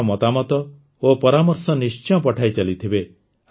ନିଜର ମତାମତ ଓ ପରାମର୍ଶ ନିଶ୍ଚୟ ପଠାଇ ଚାଲିଥିବେ